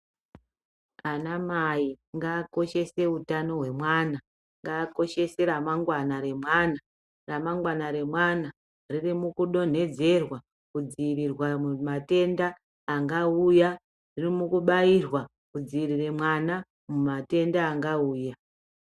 Anamai ngakoshese utano hwemwana ngaakoshese remangwana remwana , remangwana remwana ririmukudonhedzerwa kudziirirwa mumatenda angauya, ririmukubairwa kudziirire mwana mumatenda angauya.